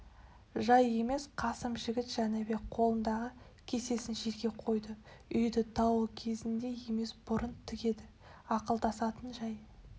жай емес қасым жігіт жәнібек қолындағы кесесін жерге қойды үйді дауыл кезінде емес бұрын тігеді ақылдасатын жай